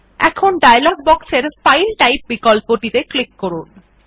এখন ডায়লগ বক্সের file type বিকল্পটিতে ক্লিক করুন